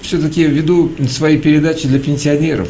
всё-таки в виду свои передачи для пенсионеров